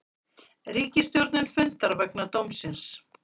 Ríkisstjórnin fundar vegna dómsins